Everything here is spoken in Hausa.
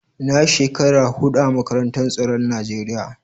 Na yi shekara hudu a makarantar tsaron Najeriya.